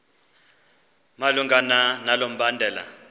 malunga nalo mbandela